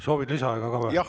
Soovid lisaaega ka või?